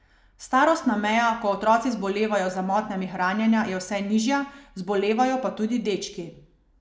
Starostna meja, ko otroci zbolevajo za motnjami hranjenja je vse nižja, zbolevajo pa tudi dečki.